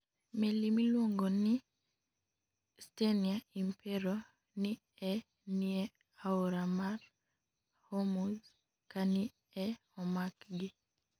Meli miluonigo nii Stenia Impero ni e niie aora mar Hormuz kani e omakgi.